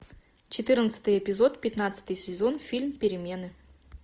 четырнадцатый эпизод пятнадцатый сезон фильм перемены